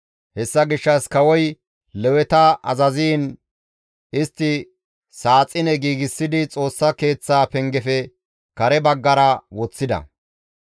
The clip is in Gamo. Hessa gishshas kawoy Leweta azaziin istti saaxine giigsidi Xoossa keeththaa pengefe kare baggara woththida.